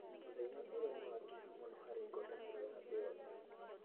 Mũthenya ũyũ nĩ wa kĩeha mũno harĩ ngwatanĩro ya thĩ yothe.